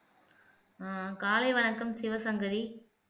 ஆஹ் காலை வணக்கம் சிவசங்கரி